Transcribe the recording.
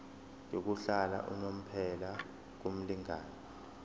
yokuhlala unomphela kumlingani